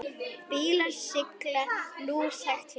Bílar sigla lúshægt hjá.